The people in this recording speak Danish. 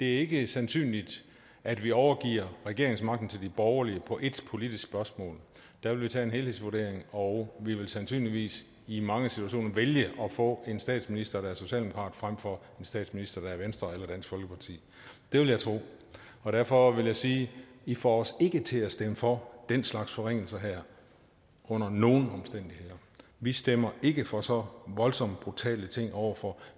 ikke sandsynligt at vi overgiver regeringsmagten til de borgerlige på ét politisk spørgsmål der vil vi tage en helhedsvurdering og vi vil sandsynligvis i mange situationer vælge at få en statsminister der er socialdemokrat frem for en statsminister der er fra venstre eller dansk folkeparti det vil jeg tro derfor vil jeg sige i får os ikke til at stemme for den slags forringelser her under nogen omstændigheder vi stemmer ikke for så voldsomt brutale ting over for